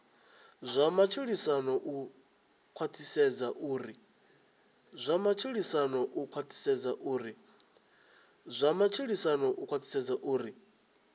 zwa matshilisano u khwathisedza uri